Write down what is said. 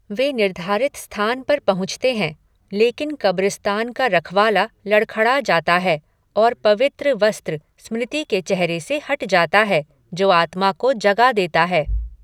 वे निर्धारित स्थान पर पहुँचते हैं, लेकिन कब्रिस्तान का रखवाला लड़खड़ा जाता है और पवित्र वस्त्र स्मृति के चेहरे से हट जाता है, जो आत्मा को जगा देता है।